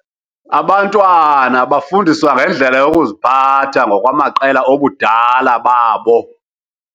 Abantwana bafundiswa ngendlela yokuziphatha ngokwamaqela obudala babo.